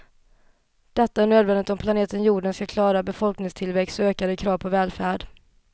Detta är nödvändigt om planeten jorden ska klara av befolkningstillväxt och ökade krav på välfärd.